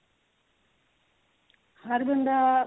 ਹਰ ਬੰਦਾ